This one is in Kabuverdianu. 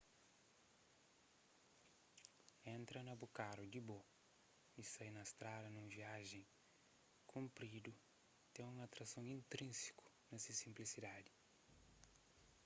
entra na bu karu di bo y sai na strada na un viaji kunpridu ten un atrason intrínsiku na se sinplisidadi